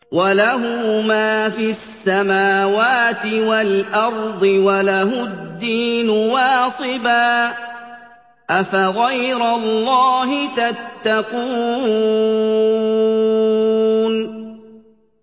وَلَهُ مَا فِي السَّمَاوَاتِ وَالْأَرْضِ وَلَهُ الدِّينُ وَاصِبًا ۚ أَفَغَيْرَ اللَّهِ تَتَّقُونَ